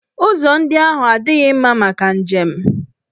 Ụzọ ndị ahụ adịghị mma maka njem.